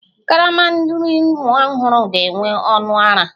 Karama nri nwa ọhụrụ ga-enwe ọnụ ara